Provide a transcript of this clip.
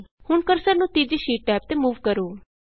ਹੁਣ ਕਰਸਰ ਨੂੰ ਤੀਜੀ ਸ਼ੀਟ ਟੈਬ ਤੇ ਮੂਵ ਕਰੋ